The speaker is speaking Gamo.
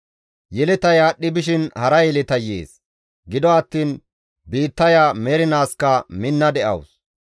Yeletay aadhdhi bishin hara yeletay yees; gido attiin biittaya mernaaskka minna de7awus.